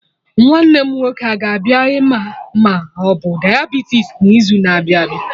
Nwanne m nwoke a ga-abịa ịma ma obu Diabitis n'izu na-abịa abịa?